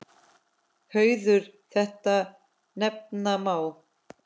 Hauður þetta nefna má.